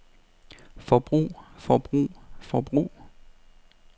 forbrug forbrug forbrug